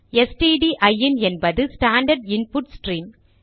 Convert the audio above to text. stdin என்பது standard input stream